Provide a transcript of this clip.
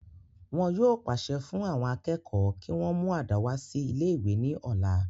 wọn yóò pàṣẹ fún àwọn akẹ́kọ̀ọ́ kí wọ́n mú àdá wá sí ilé ìwé ní ọ̀la